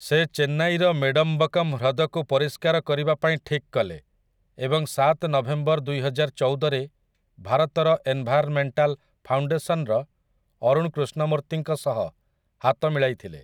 ସେ ଚେନ୍ନାଇର ମେଡମ୍ବକ୍କମ୍ ହ୍ରଦକୁ ପରିଷ୍କାର କରିବା ପାଇଁ ଠିକ୍ କଲେ ଏବଂ ସାତ ନଭେମ୍ବର ଦୁଇହଜାରଚଉଦରେ ଭାରତର ଏନ୍‌ଭାୟାର୍ମେଣ୍ଟାଲ୍ ଫାଉଣ୍ଡେସନ୍‌ର ଅରୁଣ୍ କୃଷ୍ଣମୂର୍ତ୍ତିଙ୍କ ସହ ହାତ ମିଳାଇଥିଲେ ।